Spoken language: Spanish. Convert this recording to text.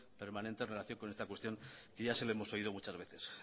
permanente en relación con esta cuestión que ya se lo hemos oído muchos veces